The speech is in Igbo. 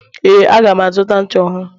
ee, aga m azụta ncha ọhụrụ